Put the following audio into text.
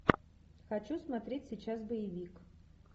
хочу смотреть сейчас боевик